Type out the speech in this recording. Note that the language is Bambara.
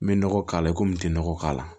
N bɛ nɔgɔ k'a la i komi n tɛ nɔgɔ k'a la